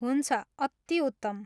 हुन्छ, अति उत्तम।